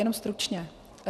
Jenom stručně.